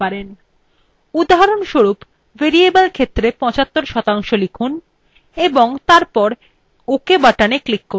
উদাহরণস্বরূপ varaible ক্ষেত্রের 75% লিখুন এবং তারপর ok button click করুন